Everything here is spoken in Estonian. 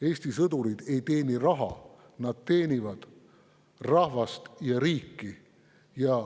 Eesti sõdurid ei teeni raha, nad teenivad rahvast ja riiki.